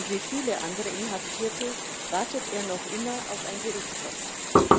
Und wie viele andere Inhaftierte wartet er noch immer auf ein Gerichtsverfahren.